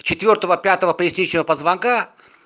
четвёртого пятого поясничного позвонка